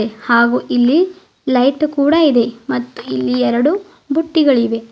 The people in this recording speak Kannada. ಹಾಗೂ ಇಲ್ಲಿ ಲೈಟ್ ಕೂಡ ಇದೆ ಮತ್ತು ಇಲ್ಲಿ ಎರಡು ಬುಟ್ಟಿಗಳಿವೆ.